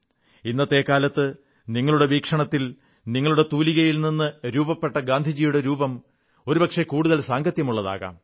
ഇന്നത്തെ കാലത്ത് നിങ്ങളുടെ വീക്ഷണത്തിൽ നിങ്ങളുടെ തൂലികയിൽ നിന്ന് രൂപപ്പെട്ട ഗാന്ധിജിയുടെ രൂപം ഒരുപക്ഷേ കൂടുതൽ സാംഗത്യമുള്ളതാകാം